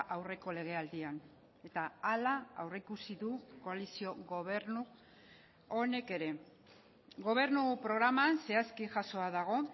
aurreko legealdian eta hala aurreikusi du koalizio gobernu honek ere gobernu programan zehazki jasoa dago